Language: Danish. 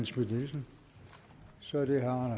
så